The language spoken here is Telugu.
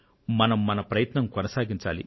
మనం మన ప్రయత్నం కొనసాగించాలి